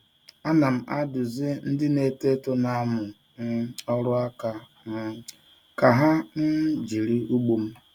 Ana m adụzi ndị na-eto eto na-amụ um ọrụ aka um ka ha um jiri ugbo m.